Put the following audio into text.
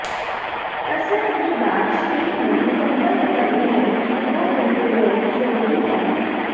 ਕਸਰਤ ਦੇ ਬਾਅਦ ਸਰੀਰ ਨੂੰ ਦੇ ਮੁਕੰਮਲ ਰਿਕਵਰੀ ਲਈ ਦੋ ਦਿਨ ਦੇ ਲਈ ਜ਼ਰੂਰੀ ਹੈ